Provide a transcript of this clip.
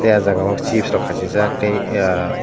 tei o jaga o chip rok kasijak tei eeyaa --